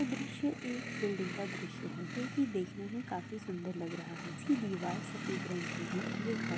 ये दृश्य एक बिल्डिंग का दृश्य है जो कि देखने में काफी सुंदर लग रहा है इसकी दीवार सफे़द रंग की ही ये घर--